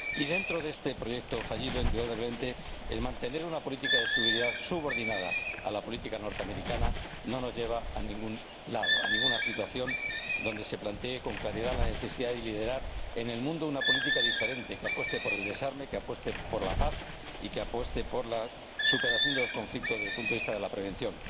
Y, dentro de este proyecto fallido, indudablemente, mantener una política de seguridad subordinada a la política norteamericana no nos lleva a ningún lado, a ninguna situación en la que se plantee con claridad la necesidad de liderar en el mundo una política diferente, que apueste por el desarme, que apueste por la paz y que apueste por la superación de los conflictos, desde el punto de vista de la prevención.